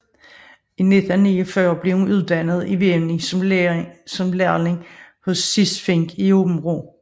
I 1949 blev hun uddannet i vævning som lærling hos Cis Fink i Aabenraa